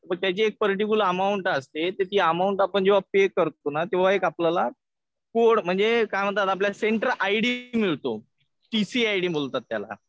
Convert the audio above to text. मग त्याची एक पर्टिक्युलर अमाउंट असते. तर ती अमाउंट आपण जेव्हा पे करतो ना. तेव्हा एक आपल्याला कोड म्हणजे काय म्हणतात त्याला आपल्याला सेंटर आय डी मिळतो. टीसी आय डी बोलतात त्याला.